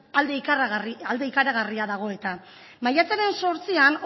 alde ikaragarria dago eta martxoaren zortzian